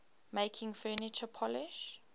making furniture polish